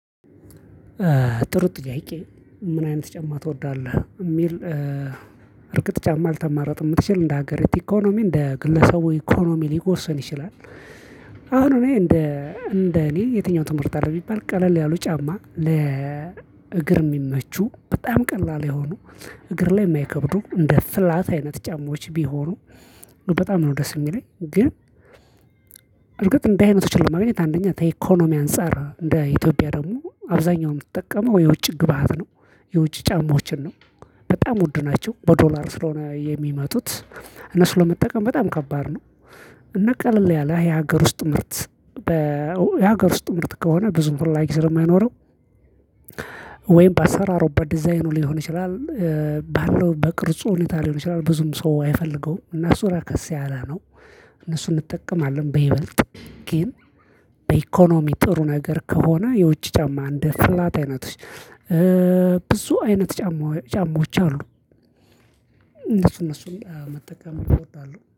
ጥሩ ጥያቄ ምን አይነት ጫማ ትወዳለህ የሚል? እርግጥ ጫማ ልተማረጥ የምትችል እንደ ሀገር ኢኮኖሚ እንደ ግለሰቡ ኢኮኖሚ ሊወሰን ይችላል። አሁን እኔ እንደ እንደ እኔ የትኛው ትመርጣለህ ቢባል ቀለል ያሉ ጫማ ለ እግር የሚመቹ በጣም ቀላል የሆኑ እግር ላይ የማይከብዱ እንደ ፍላት አይነት ጫማዎች ቢሆኑ በጣም ነው ደስ የሚለኝ። ግን እርግጥ እንደ አይነቶችን ለማግኘት አንደኛ ከኢኮኖሚ አንፃር እንደ ኢትዮጵያ ደግሞ አብዛኛውን የምትጠቀመው የውጭ ግብአት ነው የውጭ ጫማዎችን ነው በጣም ውድ ናቸው በዶላር ስለሆነ የሚመጡት እነሱ ለመጠቀም በጣም ከባድ ነው። እነ ቀለል ያለ የሀገር ውስጥ ምርት በ የሀገር ውስጥ ምርት ከሆነ ብዙም ፈላግ ስለማይኖረው። ወይም በአሰራሩ በዲዛይኑ ሊሆን ይችላል ባለው በቅርጽ ሁኔታ ሊሆን ይችላል ብዙም ሰው አይፈልገውም እና እሱ ርከስ ያለ ነው። እነሱን እንጠቀማለን በይበልጥ ግን በኢኮኖሚ ጥሩ ነገር ከሆነ የውጭ ጫማ እንደ ፍላት አይነቶች ብዙ አይነት ጫማ ጫማዎች አሉ። እነሱን እነሱን መጠቀም እመርጣለሁ